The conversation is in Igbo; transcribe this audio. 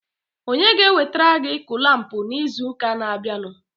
onye ga-ewetere gị kụlampụ n'izuụka na-abịanụ?